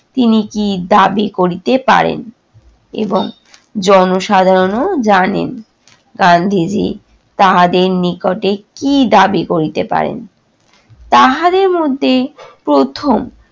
তিনি কী দাবি করিতে পারেন এবং জনসাধারণও জানেন গান্ধীজি তাহাদের নিকটে কী দাবি করিতে পারেন। তাহাদের মধ্যে প্রথম